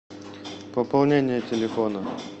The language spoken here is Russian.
пополнение телефона